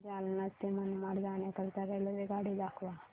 मला जालना ते मनमाड जाण्याकरीता रेल्वेगाडी दाखवा